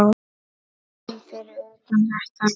um fyrir utan þetta.